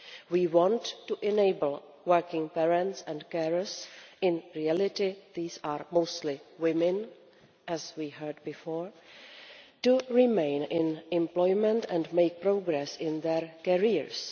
We want to enable working parents and carers in reality these are mostly women, as we heard before to remain in employment and make progress in their careers.